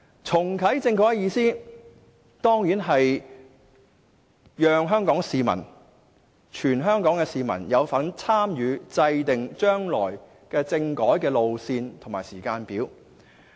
"重啟政改"的意思，當然是讓全香港市民有份參與制訂將來的政改路線和時間表。